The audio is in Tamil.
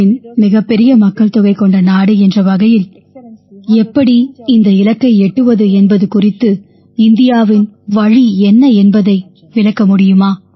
உலகின் மிகப்பெரிய மக்கள்தொகை கொண்ட நாடு என்ற வகையில் எப்படி இந்த இலக்கை எட்டுவது என்பது குறித்து இந்தியாவின் வழி என்ன என்பதை விளக்க முடியுமா